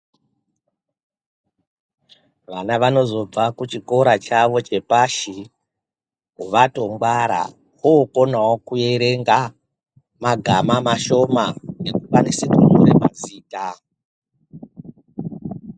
Vana vanozobva kuchikora chavo chepashi vatongwara vokonawo kuerenga magama mashoma nekukwanise kunyore mazita.